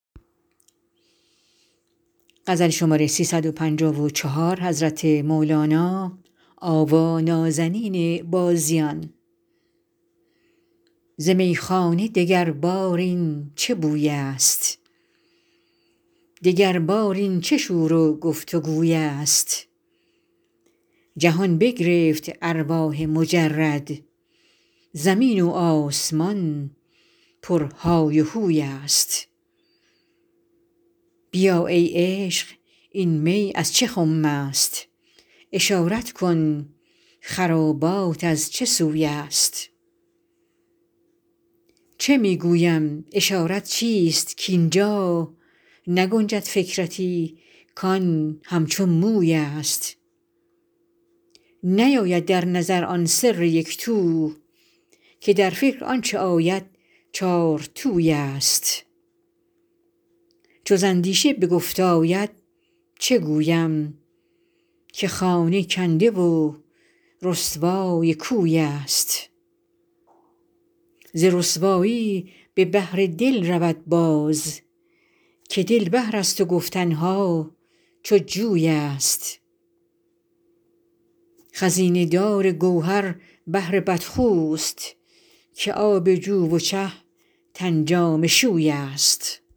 ز میخانه دگربار این چه بویست دگربار این چه شور و گفت و گویست جهان بگرفت ارواح مجرد زمین و آسمان پرهای و هوی ست بیا ای عشق این می از چه خمست اشارت کن خرابات از چه سوی ست چه می گویم اشارت چیست کاین جا نگنجد فکرتی کان همچو مویست نیاید در نظر آن سر یک تو که در فکر آنچ آید چارتویست چو ز اندیشه به گفت آید چه گویم که خانه کنده و رسوای کویست ز رسوایی به بحر دل رود باز که دل بحرست و گفتن ها چو جویست خزینه دار گوهر بحر بدخوست که آب جو و چه تن جامه شویست